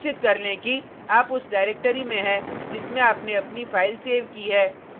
सुनिश्चित कर लें कि आप उस डाइरेक्टरी में है जिसमें आपने अपनी फाइल सेव की है